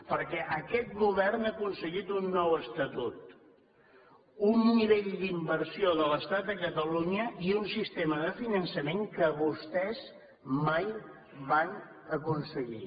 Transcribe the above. perquè aquest govern ha aconseguit un nou estatut un nivell d’inversió de l’estat a catalunya i un sistema de finançament que vostès mai van aconseguir